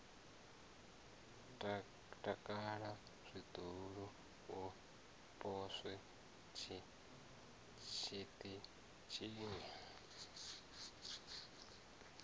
takala zwihulu u poswa tshiṱitshini